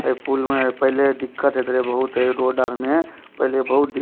ए पूल में पहला दिक्कत हेत रहे बहुत ए रोड आर में पहला बहुत दि --